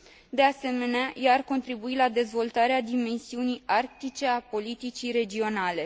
De asemenea, ea ar contribui la dezvoltarea dimensiunii arctice a politicii regionale.